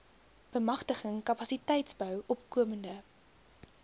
bemagtiging kapasiteitsbou opkomende